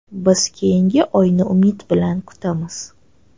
Biz keyingi oyni umid bilan kutamiz.